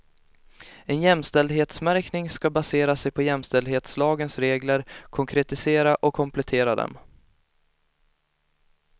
En jämställdhetsmärkning ska basera sig på jämställdhetslagens regler, konkretisera och komplettera dem.